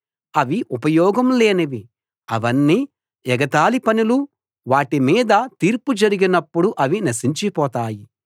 అవి ఉపయోగం లేనివి అవన్నీ ఎగతాళి పనులు వాటి మీద తీర్పు జరిగినప్పుడు అవి నశించి పోతాయి